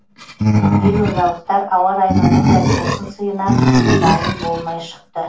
елордалықтар ауа райының мұндай тосын сыйына дайын болмай шықты